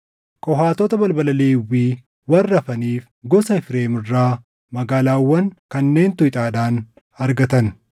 Qohaatota balbala Lewwii warra hafaniif gosa Efreem irraa magaalaawwan kanneentu ixaadhaan argatan: